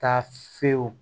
Taa fiyewu